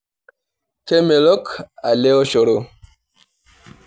Kemelok ele oshoro.